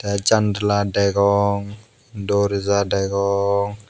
te jandala degong dorja degong.